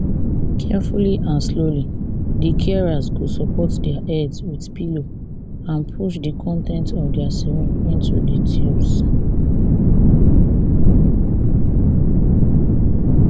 carefully and slowly di carers go support dia heads wit pillows and push di con ten ts of dia syringes into di tubes